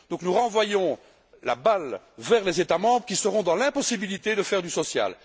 Nous renvoyons donc la balle aux États membres qui seront dans l'impossibilité de faire du social.